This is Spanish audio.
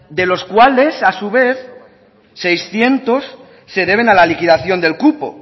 de los cuales a su vez seiscientos se deben a la liquidación del cupo